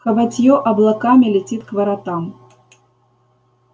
хоботьё облаками летит к воротам